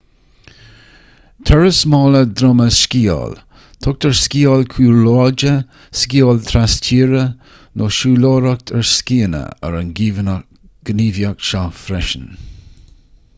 turas mála droma trí sciáil tugtar sciáil cúlráide sciáil trastíre nó siúlóireacht ar scíonna ar an ngníomhaíocht seo freisin